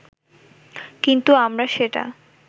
কিন্তু আমরা সেটা